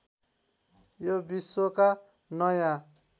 यो विश्वका नयाँ